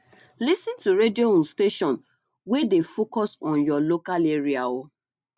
lis ten to radio um station wey dey focused on your local area um